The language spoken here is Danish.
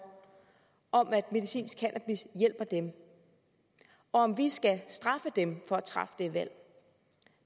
om at medicinsk cannabis hjælper dem og om vi skal straffe dem for at træffe det valg